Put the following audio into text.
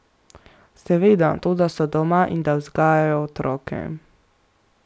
Seveda, to da so doma in da vzgajajo otroke.